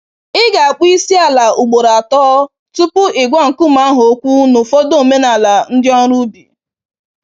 Ị ga akpọ Isiala ugboro atọ tupu ị gwa nkume ahụ okwu n'ụfọdụ omenala ndị ọrụ ubi